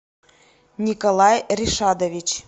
николай ришадович